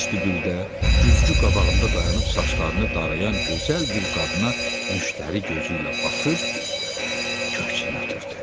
Vestibüldə güzgü qabağında dayanıb saçlarını darayan gözəl bir qadına müştəri gözü ilə baxıb köksünü ötürdü.